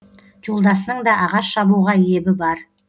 жолдасының да ағаш шабуға ебі бар